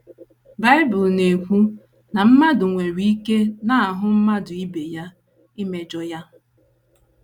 Bible na - ekwu na “ mmadụ nwere ike n’ahụ mmadụ ibe ya imejọ ya. ”